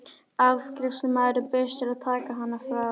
Afgreiðslumaðurinn bauðst til að taka hana frá.